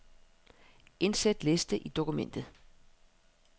Indsæt liste i dokumentet.